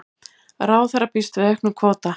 Ráðherra býst við auknum kvóta